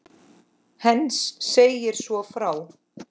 Heinz segir svo frá